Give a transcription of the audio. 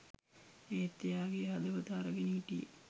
ඒත් එයාගෙ හදවත අරගෙන හිටියෙ